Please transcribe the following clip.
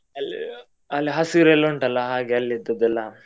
ಅಲ್ ಅಲ್ಲಿ ಹಸಿರು ಎಲ್ಲ ಉಂಟಲ್ಲ ಹಾಗೆ ಅಲ್ಲಿ ಇದ್ದದೆಲ್ಲ.